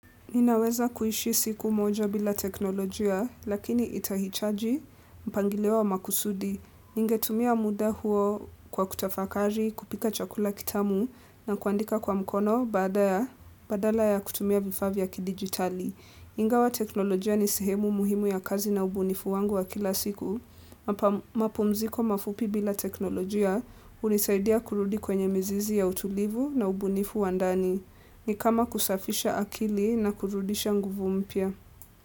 Ninaweza kuishi siku moja bila teknolojia, lakini itahichaji, mpangilio wa makusudi, ningetumia muda huo kwa kutafakari, kupika chakula kitamu, na kuandika kwa mkono, badala ya kutumia vifaa vya kidijitali. Ingawa teknolojia ni sehemu muhimu ya kazi na ubunifu wangu wa kila siku, mapumziko mafupi bila teknolojia hunisaidia kurudi kwenye mizizi ya utulivu na ubunifu wa ndani, ni kama kusafisha akili na kurudisha nguvu mpya.